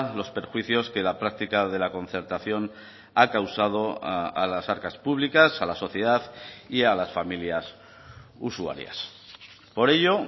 los perjuicios que la práctica de la concertación ha causado a las arcas públicas a la sociedad y a las familias usuarias por ello